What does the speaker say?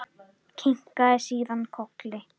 Kinkaði síðan kolli.